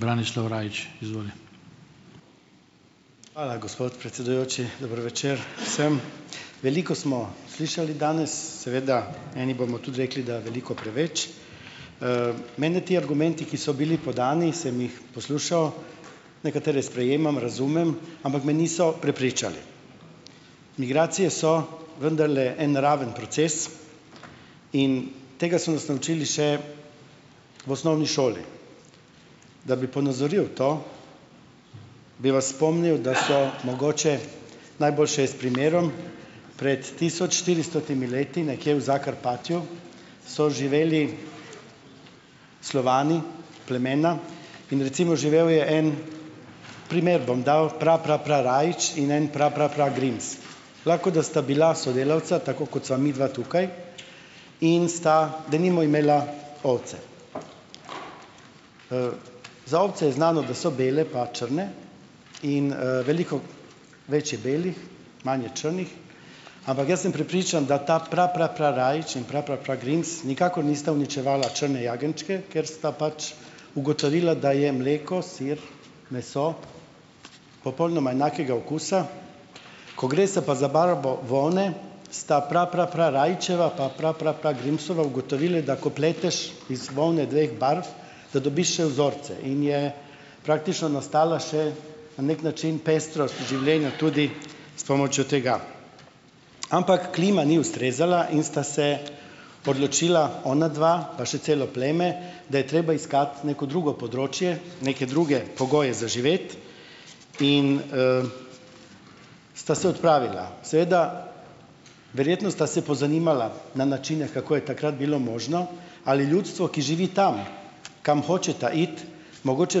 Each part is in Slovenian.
Hvala gospod predsedujoči, dober večer vsem. Veliko smo slišali danes, seveda eni bomo tudi rekli, da veliko preveč. Mene ti argumenti, ki so bili podnevi, sem jih poslušal, nekatere sprejemam, razumem, ampak me niso prepričali. Migracije so vendarle en naraven proces in tega so nas naučili še v osnovni šoli. Da bi ponazoril to, bi vas spomnil, da so mogoče najboljše je s primerom, pred tisoč štiristotimi leti, nekje v "Zakrpatju", so živeli Slovani, plemena in recimo živel je en - primer bom dal, Prapraprarajić in en Praprapragrims. Lahko, da sta bila sodelavca, tako kot sva midva tukaj, in sta denimo imela ovce. Za ovce je znano, da so bele pa črne in, veliko več je belih, manj je črnih, ampak jaz sem prepričan, da ta Prapraprarajić in Praprapragrims nikakor nista uničevala črne jagenjčke, ker sta pač ugotovila, da je mleko, sir, meso, popolnoma enakega okusa. Ko gre se pa za barvo volne, sta Prapraprarajićeva pa Praprapragrimsova ugotovili, da ko pleteš iz volne dveh barv, da dobiš še vzorce, in je praktično nastala še na neki način pestrost življenja tudi s pomočjo tega. Ampak klima ni ustrezala in sta se odločila onadva pa še celo pleme, da je treba iskati neko drugo področje, neke druge pogoje za živeti in, sta se odpravila. Seveda verjetno sta se pozanimala na načine, kako je takrat bilo možno, ali ljudstvo, ki živi tam, kam hočeta iti, mogoče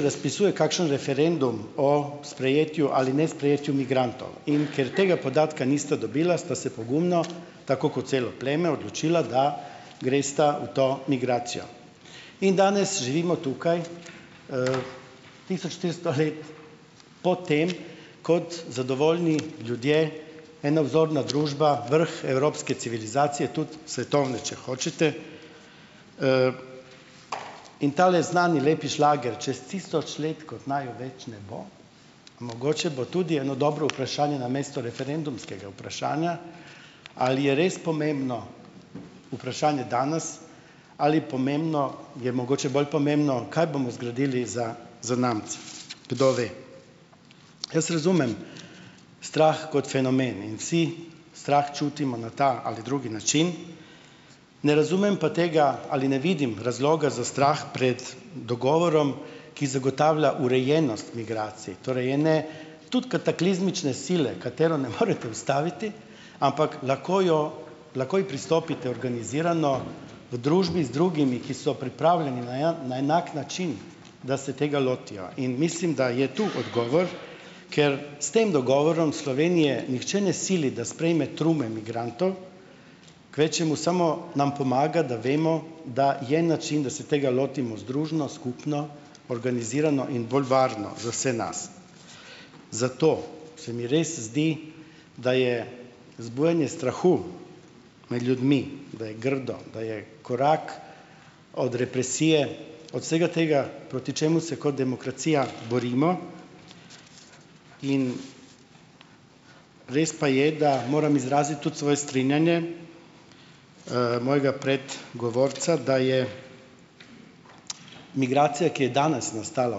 razpisuje kakšen referendum o sprejetju ali nesprejetju migrantov. In ker tega podatka nista dobila, sta se pogumno, tako kot celo pleme, odločila, da gresta v to migracijo. In danes živimo tukaj, tisoč štiristo let po tem, kot zadovoljni ljudje, ena vzorna družba, vrh evropske civilizacije, tudi svetovne, če hočete, in tale znani lepi šlager, "čez tisoč let, ko naju več ne bo", mogoče bo tudi eno dobro vprašanje namesto referendumskega vprašanja, ali je res pomembno vprašanje danes ali pomembno, je mogoče bolj pomembno, kaj bomo zgradili za zanamce. Kdo ve? Jaz razumem strah kot fenomen in vsi strah čutimo na ta ali drugi način, ne razumem pa tega, ali ne vidim razloga za strah pred dogovorom, ki zagotavlja urejenost migracij, torej ene, tudi kataklizmične sile, katero ne morete ustaviti, ampak lahko jo lahko, ji pristopite organizirano v družbi z drugimi, ki so pripravljeni na na enak način, da se tega lotijo, in mislim, da je to odgovor, ker s tem dogovorom Slovenije nihče ne sili, da sprejme trume migrantov, kvečjemu samo nam pomaga, da vemo, da je način, da se tega lotimo združno, skupno, organizirano in bolj varno za vse nas. Zato se mi res zdi, da je zbujanje strahu med ljudmi, da je grdo, da je korak od represije, od vsega tega, proti čemu se kot demokracija borimo, in res pa je, da moram izraziti tudi svoje strinjanje, mojega predgovorca, da je, migracija, ki je danes nastala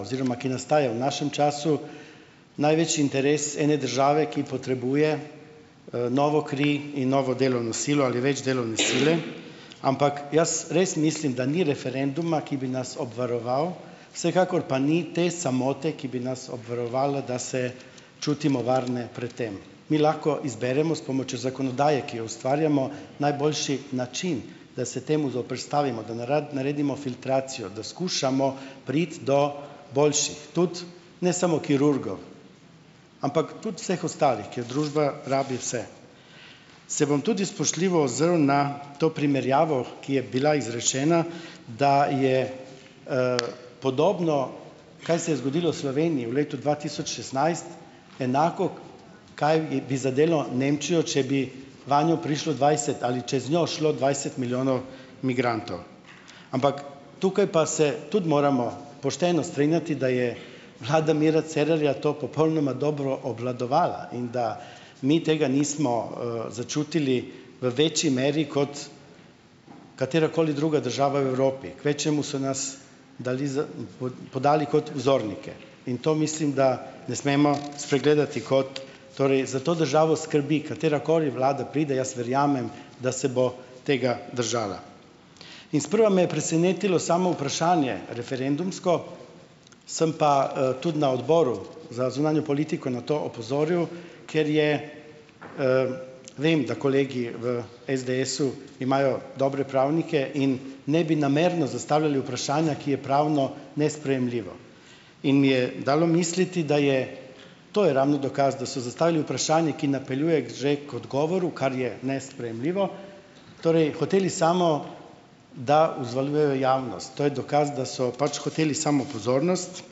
oziroma, ki nastajajo v našem času, največji interes ene države, ki potrebuje, novo kri in novo delovno silo ali več delovne sile, ampak jaz res mislim, da ni referenduma, ki bi nas obvaroval, vsekakor pa ni te samote, ki bi nas obvarovala, da se čutimo varne pred tem. Mi lahko izberemo s pomočjo zakonodaje, ki jo ustvarjamo, najboljši način, da se temu zoperstavimo, da da naredimo filtracijo, da skušamo priti do boljših, tudi ne samo kirurgov, ampak tudi vseh ostalih, ker družba rabi vse. Se bom tudi spoštljivo ozrl na to primerjavo, ki je bila izrečena, da je, podobno, kaj se je zgodilo s Slovenijo v letu dva tisoč šestnajst, enako kaj, bi zadelo Nemčijo, če bi vanjo prišlo dvajset ali čez njo šlo dvajset milijonov migrantov. Ampak tukaj pa se tudi moramo pošteno strinjati, da je vlada Mira Cerarja to popolnoma dobro obvladovala in da mi tega nismo, začutili v večji meri kot katerakoli druga država v Evropi. Kvečjemu so nas dali za, podali kot vzornike in to mislim, da ne smemo spregledati. Kot ... Torej za to državo skrbi, katerakoli vlada pride, jaz verjamem, da se bo tega držala. In sprva me je presenetilo samo vprašanje, referendumsko, sem pa, tudi na odboru za zunanjo politiko na to opozoril, ker je, vem, da kolegi v SDS-u imajo dobre pravnike in ne bi namerno zastavljali vprašanja, ki je pravno nesprejemljivo. In mi je dalo misliti, da je, to je ravno dokaz, da so zastavili vprašanje, ki napeljuje že k odgovoru, kar je nesprejemljivo. Torej, hoteli samo, da uzvaljujejo javnost. To je dokaz, da so pač hoteli samo pozornost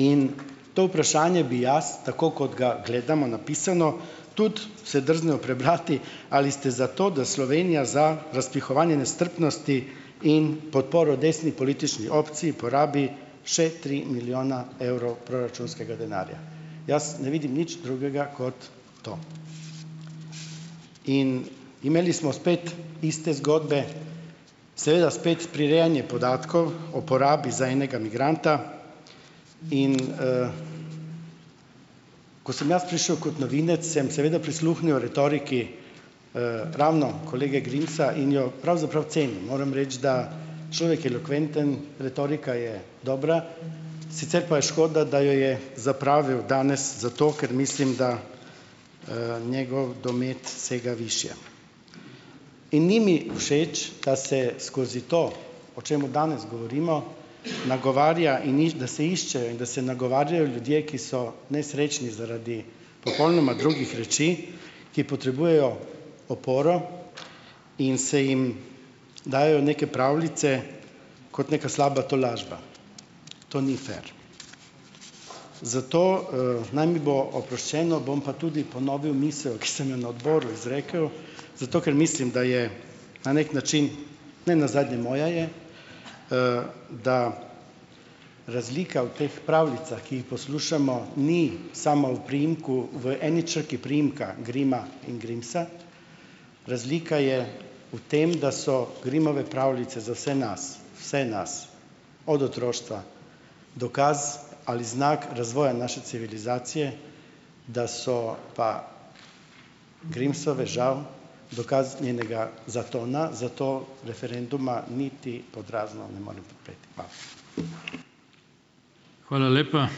in to vprašanje bi jaz tako, kot ga gledamo, napisano, tudi se drznil prebrati ali ste za to, da Slovenija za razpihovanje nestrpnosti in podporo desni politični opciji porabi še tri milijone evrov proračunskega denarja. Jaz ne vidim nič drugega kot to. In imeli smo spet iste zgodbe, seveda spet prirejanje podatkov o porabi za enega migranta in, ko sem jaz prišel kot novinec, sem seveda prisluhnil retoriki, ravno kolege Grimsa in jo pravzaprav cenim. Moram reči, da človek je elokventen, retorika je dobra, sicer pa je škoda, da jo je zapravil danes za to, ker mislim, da, njegov domet sega višje. In ni mi všeč, da se skozi to, o čemu danes govorimo, nagovarja, in da se iščejo in da se nagovarjajo ljudje, ki so nesrečni zaradi popolnoma drugih reči, ki potrebujejo oporo in se jim dajejo neke pravljice kot neka slaba tolažba. To ni "fer". Zato, naj mi bo oproščeno, bom pa tudi ponovil misel, ki sem jo na odboru izrekel, zato ker mislim, da je na neki način - ne nazadnje moja je, - da razlika v teh pravljicah, ki jih poslušamo, ni samo v priimku, v eni črki priimka Grimma in Grimsa. Razlika je v tem, da so Grimmove pravljice za vse nas, vse nas od otroštva dokaz ali znak razvoja naše civilizacije, da so pa Grimsove žal dokaz njenega zatona, zato referenduma niti "pod razno" ne morem podpreti. Hvala.